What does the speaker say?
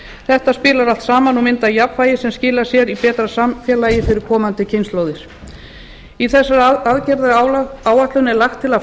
þetta spilar allt saman og myndar jafnvægi sem skilar sér í betra samfélagi fyrir komandi kynslóðir í þessari aðgerðaáætlun er lagt til að fæðingarorlof verði